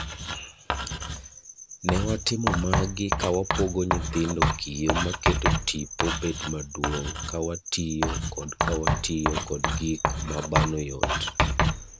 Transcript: Ne watimo magi kawapogo nyithindo kiyoo maketo tipo bet maduong' kawatiyo kodkawatiyo kod gik mabano yot.